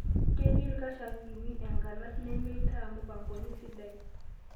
Keetii ilkashakini nkanas nemeeita mupangoni sidai